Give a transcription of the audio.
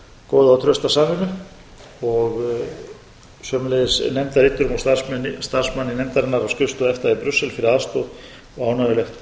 góða og trausta samvinnu og sömuleiðis nefndarriturum og starfsmanni nefndarinnar á skrifstofu efta í brussel fyrir aðstoð og